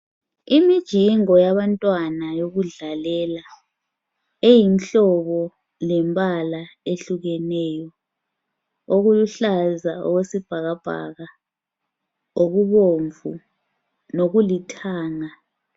Imijingo yabantwana yokudlalela eyinhlobo lembala ehlukeneyo okuluhluza okwesibhaka bhaka okubomvu lokulithanga.